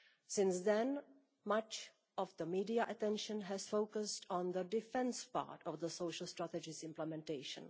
Since then, much of the media's attention has focused on the defence part of the social strategy's implementation.